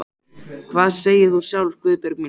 Hvað segir þú sjálf, Guðbjörg mín?